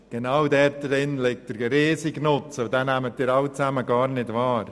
Genau dort liegt der riesige Nutzen, und diesen nehmen Sie alle gar nicht wahr.